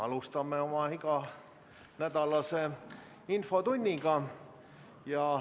Alustame oma iganädalast infotundi.